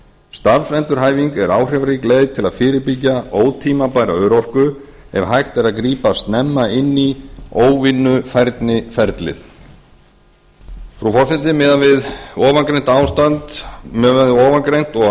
starfsendurhæfing er áhrifarík leið til að fyrirbyggja ótímabæra örorku ef hægt er að grípa snemma inn í óvinnufærniferlið frú forseti miðað við ofangreint og